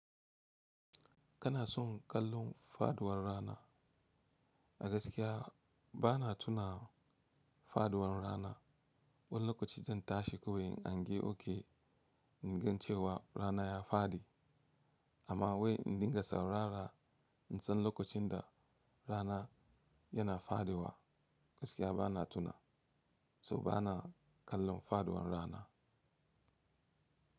Kana son kallon faduwar rana? A gaskiya bana tuna faduwar rana. Wani lokaci zan tashi kawai in an yi oke in gan cewa rana ya faɗi, amma wai in dinga saurara in san lokacin da rana yana faduwa gaskiya bana tuna, so bana kallon faduwar rana.